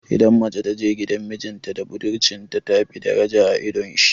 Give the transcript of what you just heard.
Idan mace ta je gidan mijinta da budurcinta, tafi daraja a idon shi.